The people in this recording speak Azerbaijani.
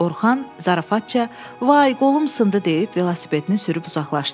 Orxan zarafatca, vay qolum sındı deyib velosipedini sürüb uzaqlaşdı.